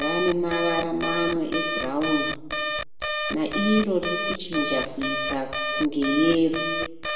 ,rave nemavara mamwe ebhurauni nairo ririkuchinja kuita kunge yero.